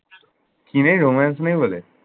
কি নেই? romance নেই বলে?